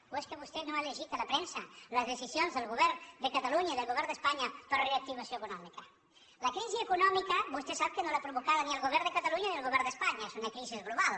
o és que vostè no ha llegit a la premsa les decisions del govern de catalunya i del govern d’espanya per a reactivació econòmica la crisi econòmica vostè sap que no l’ha provocada ni el govern de catalunya ni el govern d’espanya és una crisi global